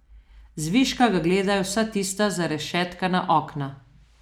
Zviška ga gledajo vsa tista zarešetkana okna.